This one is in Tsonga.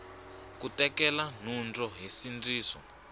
ku tekela nhundzu hi nsindziso